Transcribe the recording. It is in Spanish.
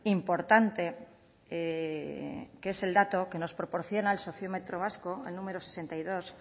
importante que es el dato que nos proporciona el sociometro vasco el número sesenta y dos